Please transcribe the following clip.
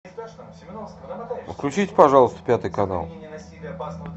включите пожалуйста пятый канал